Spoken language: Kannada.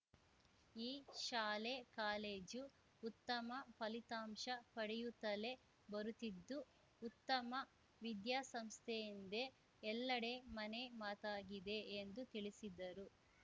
ಈ ಶಾಲೆಕಾಲೇಜು ಉತ್ತಮ ಫಲಿತಾಂಶ ಪಡೆಯುತ್ತಲೇ ಬರುತ್ತಿದ್ದು ಉತ್ತಮ ವಿದ್ಯಾಸಂಸ್ಥೆಯೆಂದೇ ಎಲ್ಲಡೆ ಮನೆ ಮಾತಾಗಿದೆ ಎಂದು ತಿಳಿಸಿದ್ದರು